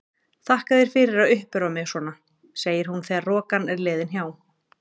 Þakka þér fyrir að uppörva mig svona, segir hún þegar rokan er liðin hjá.